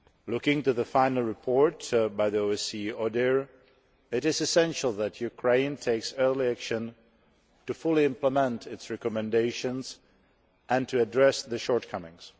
Looking to the final report by the OSCE ODIHR, it is essential that Ukraine takes early action to fully implement its recommendations and to address the shortcomings.